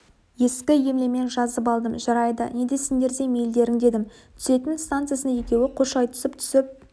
ескі емлемен жазып алдым жарайды не десеңдер де мейілдерің дедім түсетін станциясында екеуі қош айтысып түсіп